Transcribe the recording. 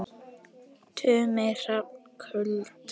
Tumi Hrafn Kúld.